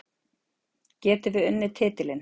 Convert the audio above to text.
Getum við unnið titilinn?